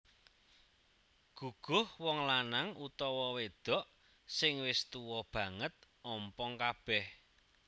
Guguh Wong lanang/wedho sing wis tuwa banget ompong kabeh